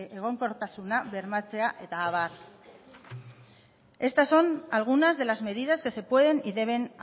egonkortasuna bermatzea eta abar estas son algunas de las medidas que se pueden y deben